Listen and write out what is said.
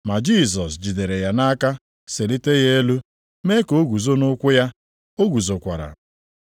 Ma Jisọs jidere ya nʼaka selite ya elu, mee ka o guzo nʼụkwụ ya. O guzokwara.